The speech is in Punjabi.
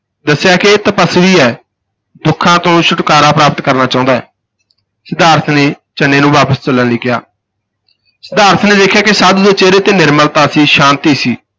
ਦੱਸਿਆ ਕਿ ਇਹ ਤਪੱਸਵੀ ਹੈ, ਦੁੱਖਾਂ ਤੋਂ ਛੁਟਕਾਰਾਂ ਪ੍ਰਾਪਤ ਕਰਨਾ ਚਾਹੁੰਦਾ ਹੈ, ਸਿਧਾਰਥ ਨੇ ਚੰਨੇ ਨੂੰ ਵਾਪਸ ਚੱਲਣ ਲਈ ਕਿਹਾ ਸਿਧਾਰਥ ਨੇ ਦੇਖਿਆ ਕਿ ਸਾਧੂ ਦੇ ਚਿਹਰੇ ਤੇ ਨਿਰਮਲਤਾ ਸੀ, ਸ਼ਾਂਤੀ ਸੀ।